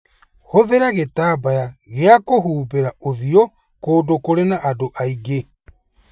Hũthĩra gĩtambaya gĩa kũhumbĩra ũthiũ kũndũ kũrĩ na andũ aingĩ.